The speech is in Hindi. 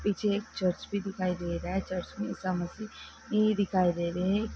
पीछे चर्च भी दिखाई दे रहा है चर्च में ईसा मसीह भी दिखाई दे रहे हैं।